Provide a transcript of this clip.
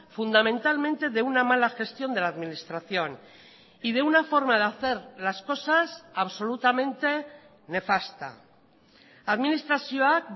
fundamentalmente de una mala gestión de la administración y de una forma de hacer las cosas absolutamente nefasta administrazioak